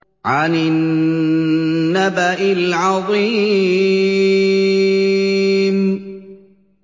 عَنِ النَّبَإِ الْعَظِيمِ